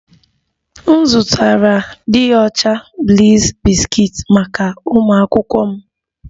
M zụtara dị ọcha bliss biscuits maka ụmụ akwụkwọ m